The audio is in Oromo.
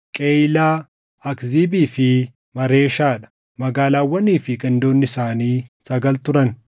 Qeyiilaa, Akziibii fi Maareeshaa dha; magaalaawwanii fi gandoonni isaanii sagal turan.